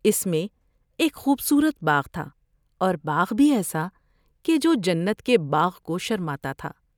اس میں ایک خوب صورت باغ تھا اور باغ بھی ایسا کہ جو جنت کے باغ کو شر ما تا تھا ۔